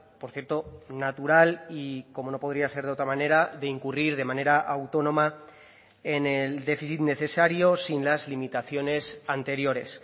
por cierto natural y como no podría ser de otra manera de incurrir de manera autónoma en el déficit necesario sin las limitaciones anteriores